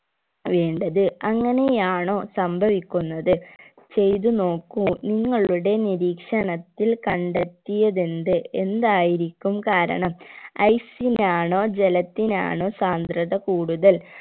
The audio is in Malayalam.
വേണ്ടത് അങ്ങനെയാണോ സംഭവിക്കുന്നത് ചെയ്തു നോക്കൂ നിങ്ങളുടെ നിരീക്ഷണത്തിൽ കണ്ടെത്തിയതെന്ത് എന്തായിരിക്കും കാരണം ice നാണോ ജലത്തിനാണോ സാന്ദ്രത കൂടുതൽ